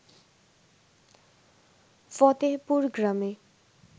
ফতেহপুর গ্রামে